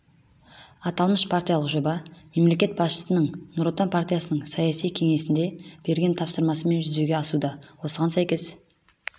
аталмыш партиялық жоба мемлекет басшысының нұр отан партиясының саяси кеңесінде берген тапсырмасымен жүзеге асуда осыған сәйкес